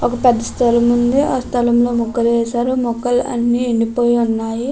ఒక పెద్ద స్థలం ఉంది ఆ స్థలం లో మొక్కలు వేశారు మొక్కలు అన్ని ఎండిపోయి ఉన్నాయి.